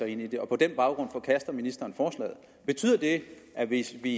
ind i det og på den baggrund forkaster ministeren forslaget betyder det at hvis vi